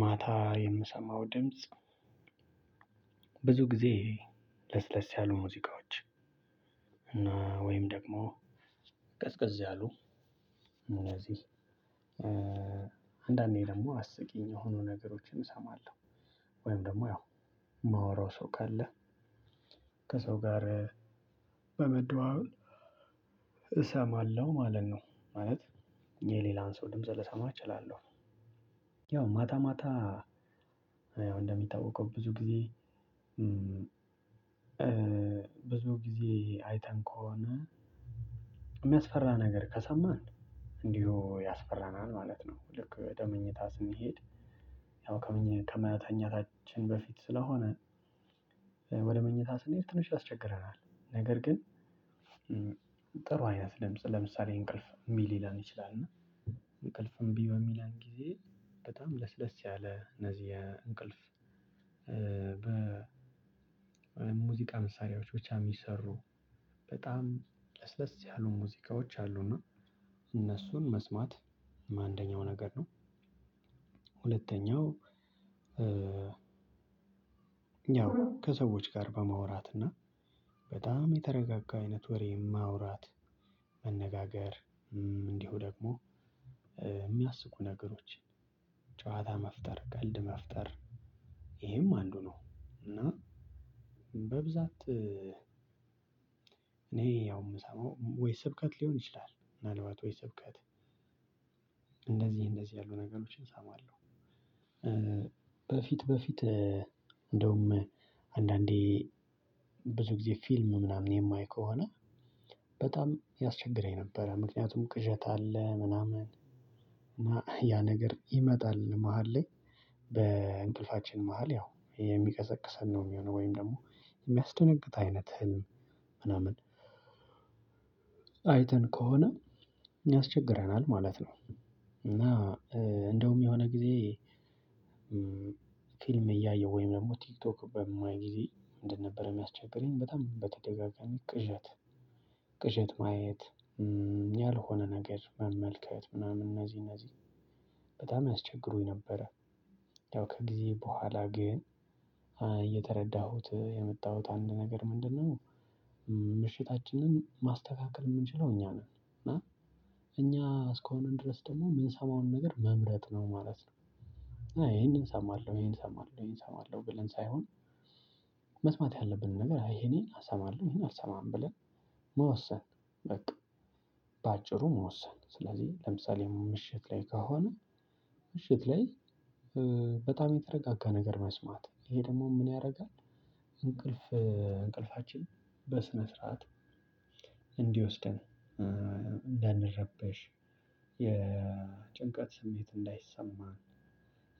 ማታ የምሰማው ድምጽ ብዙ ጊዜ ለስለስ ያሉ ሙዚቃዎች እና ወይም ደግሞ ቀዝቀዝ ያሉ እነዚህ አንዳንዴ ደግሞ አስቂኝ የሆኑ ነገሮችን እሰማለሁ። ወይም ደግሞ ያው የማወራው ሰው ካለ ከሰው ጋር በመደዋወል እሰማለሁ ማለት ነው ማለት የሌላን ሰው ድምጽ ልሰማ እችላለሁ። ያው ማታ ማታ እንደሚታወቀው ብዙ ጊዜ ብዙ ጊዜ አይተን ከሆነ የሚያስፈራ ነገር ከሰማን እንዲሁ ያስፈራናል ማለት ነው። ልክ ወደምኝታ ስንሄድ ያው ከመተኛታችን በፊት ስለሆነ ወደ መኝታ ስንሄድ ትንሽ ያስቸግረናል። ነገር ግን ጥሩ አይነት ለምሳሌ እንቅልፍ እምቢ ሊለን ይችላል። እና እንቅልፍም እምቢ በሚለን ጊዜ በጣም ለስለስ ያለ እነዚህ የእንቅልፍ በሙዚቃ መሳሪያዎች ብቻ የሚሰሩ በጣም ለስለስ ያሉ ሙዚቃዎች አሉና እነሱን መስማት አንደኛው ነገር ነው። ሁለተኛው ያው ከሰዎች ጋር በማውራት እና በጣም የተረጋጋ አይነት ወሬ ማውራት መነጋገር እንዲሁ ደግሞ የሚያስቁ ነገሮችን ጨዋታ መፍጠር ቀልድ መፍጠር ይሄም አንዱ ነው። እና በብዛት እኔ ያው የምሰማው ወይ ስብከት ሊሆን ይችላል ምናልባት ወይ ስብከት እንደዚህ እንደዚህ ያሉ ነገሮችን እሳማለሁ። በፊት በፊት እንደውም አንዳንዴ ብዙ ጊዜ ፊልም ምናምን የማይ ከሆነ በጣም ያስቸግረኝ ነበር። ምክንያቱም ቅዠት አለ ምናምን እና ያ ነገር ይመጣል መሃል ላይ በእንቅልፋችን መሃል ያው የሚቀሰቅሰን ነው የሚሆነው ወይም ደግሞ የሚያስደነግጥ አይነት ህልም ምናምን አይተን ከሆነ ያስቸግረናል ማለት ነው። እና እንደውም የሆነ ጊዜ በሙዚቃ መሳሪያዎች ብቻ የሚሰሩ በጣም ለስለስ ያሉ ሙዚቃዎች አሉና እነሱን መስማት አንደኛው ነገር ነው። ሁለተኛው ያው ከሰዎች ጋር በማውራት እና በጣም የተረጋጋ አይነት ወሬ ማውራት መነጋገር ምሽታችንን ማስተካከል እምንችለው እኛ ነን እና እኛ እስከሆንን ድረስ ደግሞ እምንሰማውን ነገር መምረጥ ነው ማለት ነው። ይሄንን እሰማለሁ ይሄን እሰማለሁ ይሄን እሰማለሁ ብለን ሳይሆን መስማት ያለብንን ነገር አይ ይሄን ይሄን አሰማለሁ ይሄን አልሰማም ብለን መወሰን በቃ። በአጭሩ መወሰን ስለዚህ ለምሳሌ ምሽት ላይ ከሆነ ምሽት ላይ በጣም የተረጋጋ ነገር መስማት ይሄ ደግሞ ምን ያደርጋል? እንቅልፍ እንቅልፋችን በስነ ስርዓት እንዲወስደን እንዳንረበሽ የጭንቀት ስሜት እንዳይሰማ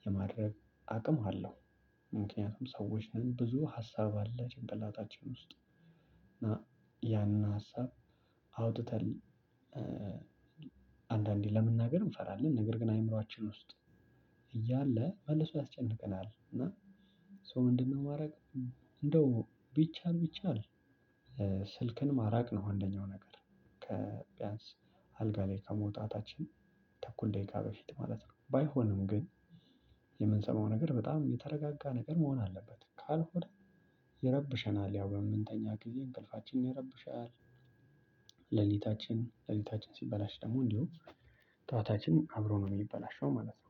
የማድረግ አቅም አለው። ምክንያቱም ሰዎች ነን ብዙ ሀሳብ አለ ጭንቅላታችን ውስጥ ያን ሀሳብ አውጥተን አንዳንዴ ለመናገር እንፈራለን ነገር ግን አይምሮአችን ውስጥ እያለ መልሶ ያስጨንቀናል። ሰው ምንድን ነው ማረግ? እንደው ቢቻል ቢቻል ስልክን ማራቅ ነው አንደኛው ነገር ከ ቢያንስ አልጋ ላይ ከመውጣታችን ተኩል ደቂቃ በፊት ማለት ነው። ባይሆንም ግን የምንሰማው ነገር በጣም የተረጋጋ ነገር መሆን አለበት ካልሆነ ይረብሸናል ያው በምንተኛ ጊዜ እንቅልፋችን ይረብሻል። ሌሊታችን ሌሊታችን ሲበላሽ ደግሞ እንዲሁ ጠዋታችን አብሮ ነው የሚበላሸው ማለት ነው።